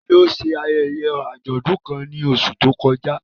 Tani ó ṣe ayẹyẹ àjọ̀dún kan ní oṣù tó kọjá?